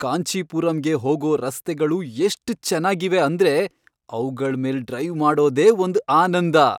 ಕಾಂಚೀಪುರಂಗೆ ಹೋಗೋ ರಸ್ತೆಗಳು ಎಷ್ಟ್ ಚೆನ್ನಾಗಿವೆ ಅಂದ್ರೆ ಅವ್ಗಳ್ ಮೇಲ್ ಡ್ರೈವ್ ಮಾಡೋದೇ ಒಂದ್ ಆನಂದ.